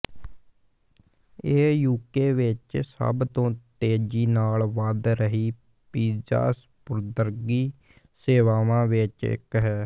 ਇਹ ਯੂਕੇ ਵਿੱਚ ਸਭ ਤੋਂ ਤੇਜ਼ੀ ਨਾਲ ਵਧ ਰਹੀ ਪੀਜ਼ਾ ਸਪੁਰਦਗੀ ਸੇਵਾਵਾਂ ਵਿੱਚੋਂ ਇੱਕ ਹੈ